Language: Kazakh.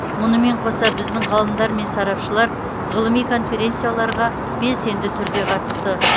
мұнымен қоса біздің ғалымдар мен сарапшылар ғылыми конференцияларға белсенді түрде қатысты